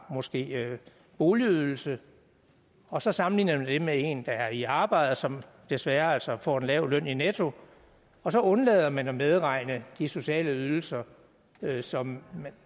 måske har boligydelse og så sammenligner man det med en der er i arbejde som desværre altså får en lav løn netto og så undlader man at medregne de sociale ydelser som